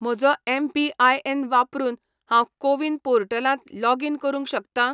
म्हजो एम.पी.आय.एन. वापरून हांव कोविन पोर्टलांत लॉगीन करूंक शकता?